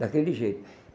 Daquele jeito.